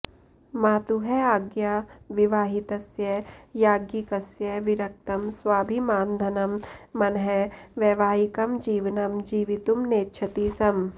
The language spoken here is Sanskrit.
मातुः आज्ञया विवाहितस्य याज्ञिकस्य विरक्तं स्वाभिमानधनं मनः वैवाहिकं जीवनं जीवितुं नेच्छति स्म